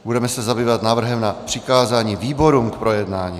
Budeme se zabývat návrhem na přikázání výborům k projednání.